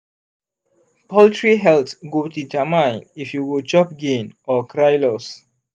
poultry health go determine if you go chop gain or cry loss.